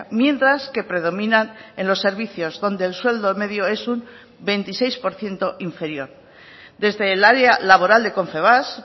mientras que predominan en los servicios donde el sueldo medio es un veintiséis por ciento inferior desde el área laboral de confebask